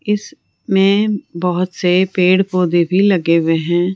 इस में बहोत से पेड़ पौधे भी लगे हुए हैं।